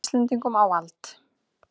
Íslendingum á vald.